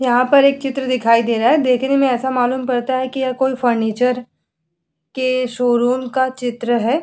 यहाँ पर एक चित्र दिखाई दे रहा है देखने में ऐसा मालूम पड़ता है कि यह कोई फर्नीचर के शोरूम का चित्र है ।